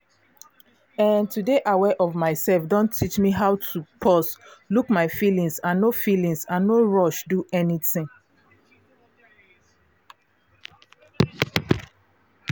once i dey follow how my breath how my breath dey enter and comot my head no dey scatter like before.